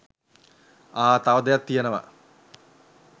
ආ! තව දෙයක් තියෙනවා